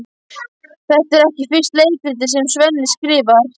Þetta er ekki fyrsta leikritið sem Svenni skrifar.